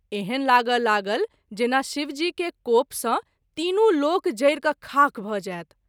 एहन लागय लागल जेना शिव जी के कोप सँ तीनू लोक जरि क’ खाक भ’ जाओत।